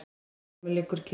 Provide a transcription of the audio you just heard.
Vilhjálmur liggur kyrr.